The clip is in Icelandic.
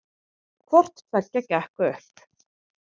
Hvorttveggja gekk upp